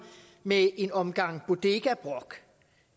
med en omgang bodegabrok